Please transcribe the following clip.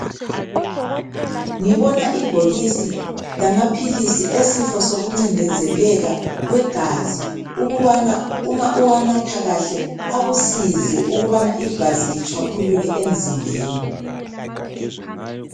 Ngibona ibhokisi lamaphilisi esifo sokuncindezeleka kwegazi ukubana uma uwanatha kahle akusize ukubana igazi litshwaphuluke emzimbeni.